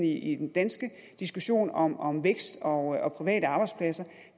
i den danske diskussion om om vækst og private arbejdspladser